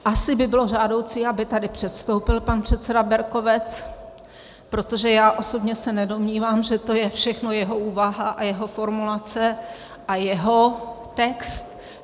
Asi by bylo žádoucí, aby tady předstoupil pan předseda Berkovec - protože já osobně se nedomnívám, že to je všechno jeho úvaha a jeho formulace a jeho text.